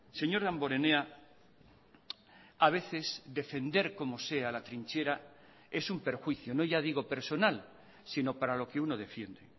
señor damborenea a veces defender como sea la trinchera es un perjuicio no ya digo personal sino para lo que uno defiende